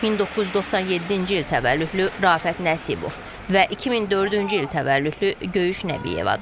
1997-ci il təvəllüdlü Şərafət Nəsibov və 2004-cü il təvəllüdlü Göyüş Nəbiyevadır.